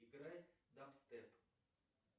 играй даб степ